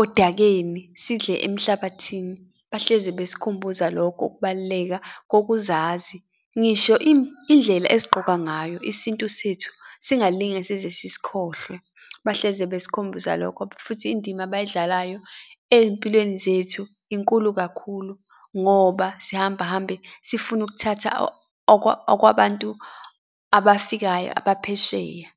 odakeni sidle emhlabathini, bahlezi basikhumbuza lokho ukubaluleka kokuzazi. Ngisho indlela esigqoka ngayo, isintu sethu singalinge size sisikhohlwe, bahlezi besikhumbuza lokho, futhi indima abayidlalayo ey'mpilweni zethu inkulu kakhulu, ngoba sihamba hambe sifune ukuthatha okwabantu abafikayo abaphesheya.